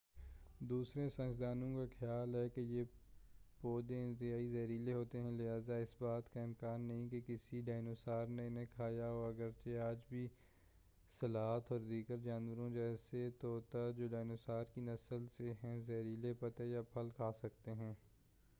دوسرے سائنسدانوں کا خیال ہے کہ یہ پودے انتہائی زہریلے ہوتے ہیں لہٰذا اس بات کا امکان نہیں کہ کسی ڈائنوسار نے انہیں کھایا ہو، اگرچہ آج بھی سلاتھ اور دیگر جانور جیسے طوطا جو ڈائنوسارز کی نسل سے ہیں زہریلے پتے یا پھل کھا سکتے ہیں۔